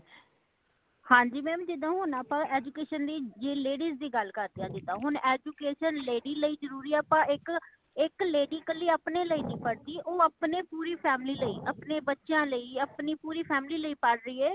ਹਾਂਜੀ mam ਜੀਦਾ ਹੋਣ ਆਪਾ education ਲਈ ਜੇ ladies ਦੀ ਗੱਲ ਕਰਦੇ ਹਾਂ ਜਿੰਦਾ , ਹੋਣ education lady ਲਈ ਜਰੂਰੀ ਹੇ ਆਪਾ ਇੱਕ , ਇੱਕ lady ਕਲੀ ਆਪਣੇ ਲਈ ਨਹੀਂ ਪੜਦੀ ,ਉਹ ਆਪਣੇ ਪੂਰੀ family ਲਈ ,ਆਪਣੇ ਬੱਚਿਆਂ ਲਈ , ਆਪਣੇ ਪੂਰੀ family ਲਈ ਪਾੜ ਰਹੀ ਏ